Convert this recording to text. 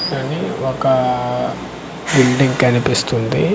ఒకా బిల్డింగ్ కనిపిస్తుంది .